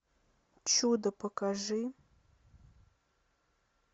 чудо покажи